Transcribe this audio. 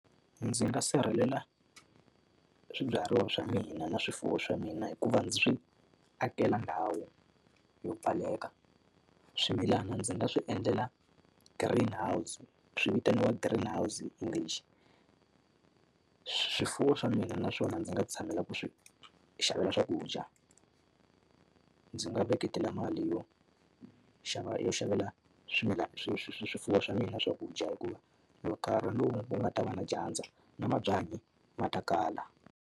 Ndzi nga sirhelela swibyariwa swa mina na swifuwo swa mina hikuva ndzi swi akela ndhawu yo pfaleka. Swimilana ndzi nga swi endlela green house swi vitaniwa green house hi English. Swifuwo swa mina naswona ndzi nga tshamela ku swi xavela swakudya, ndzi nga veketela mali yo xava yo xavela swimilana swifuwo swa mina swakudya hikuva karhi lowu wu ku nga ta va na dyandza, na mabyanyi ma ta kala.